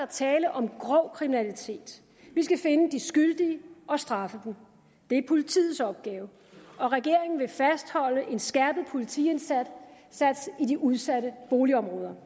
tale om grov kriminalitet vi skal finde de skyldige og straffe dem det er politiets opgave og regeringen vil fastholde en skærpet politiindsats i de udsatte boligområder